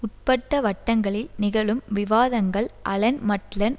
உட்பட்ட வட்டங்களில் நிகழும் விவாதங்கள் அலன் மட்லன்